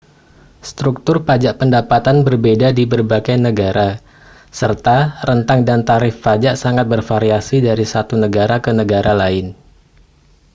struktur pajak pendapatan berbeda di berbagai negara serta rentang dan tarif pajak sangat bervariasi dari satu negara ke negara lain